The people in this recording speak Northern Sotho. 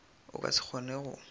o ka se kgone go